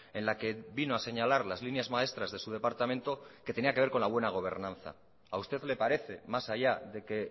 en la que vino a señalar las líneas maestras de su departamento que tenía que ver con la buena gobernanza a usted le parece mas allá de que